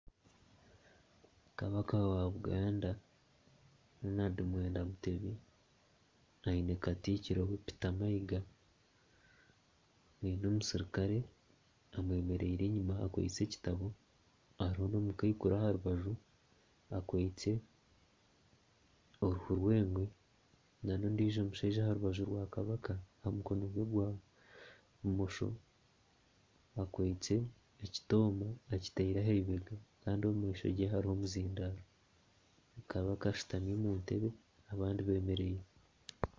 Kabaka wa Buganda Ronald Mwenda Mutebi aine katiikiro Peter Mayiga aine omuserukare eyemereire enyima akwitse ekitabo hariho n'omukaikuru aharubaju akwitse oruhu rw'engwe n'ondiijo omushaija aha rubaju rwa kabaka aha mukono gwe gwa bumosho, akwitse ekitama akitaire aha ibega kandi omu maisho ge hariho omuzindaaro, kabaka ashutami omu ntebe abandi beemereire